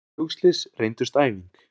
Fréttir um flugslys reyndust æfing